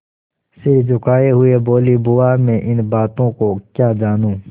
सिर झुकाये हुए बोलीबुआ मैं इन बातों को क्या जानूँ